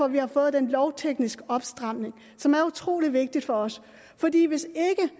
vi har fået den lovtekniske opstramning som er utrolig vigtig for os fordi hvis